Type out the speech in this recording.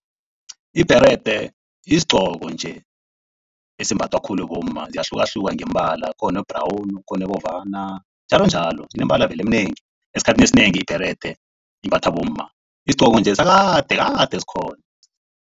Ibherede yisiggoko nje esimbathwa khulu bomma. Ziyahlukahluka ngeembala khona o-brown, khona obovana njalo njalo sineembala eminengi. Esikhathini esinengi ibherede imbathwa bomma isigqoko sakade kade sikhona.